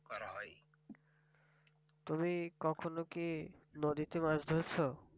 তুমি কখনো কি নদীতে মাছ ধরছ?